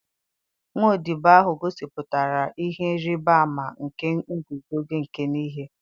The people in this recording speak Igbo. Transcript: nwa odibo ahụ gosipụtara ihe ịrịba ama nke iguzosi ike n'ihe.